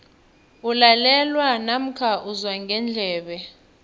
kulalelwa namkha uzwa ngendlebe